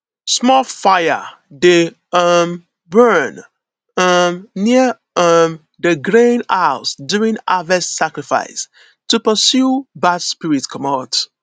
small fire dey um burn um near um di grain house during harvest sacrifice to pursue bad spirits comot